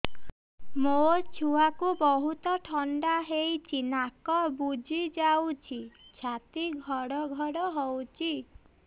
ମୋ ଛୁଆକୁ ବହୁତ ଥଣ୍ଡା ହେଇଚି ନାକ ବୁଜି ଯାଉଛି ଛାତି ଘଡ ଘଡ ହଉଚି